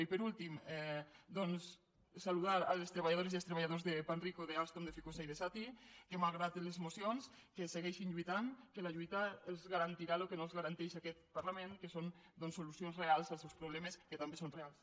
i per últim doncs saludar les treballadores i els treballadors de panrico d’alstom de ficosa i de sati que malgrat les mocions segueixin lluitant que la lluita els garantirà el que no els garanteix aquest parlament que són solucions reals als seus problemes que també són reals